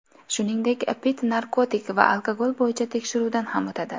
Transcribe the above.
Shuningdek, Pitt narkotik va alkogol bo‘yicha tekshiruvdan ham o‘tadi.